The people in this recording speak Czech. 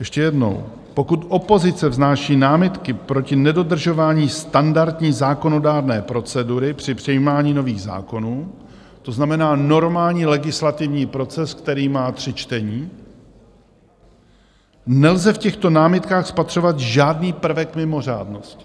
Ještě jednou: Pokud opozice vznáší námitky proti nedodržování standardní zákonodárné procedury při přijímání nových zákonů, to znamená normální legislativní proces, který má tři čtení, nelze v těchto námitkách spatřovat žádný prvek mimořádnosti.